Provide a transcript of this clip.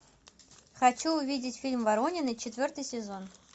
хочу увидеть фильм воронины четвертый сезон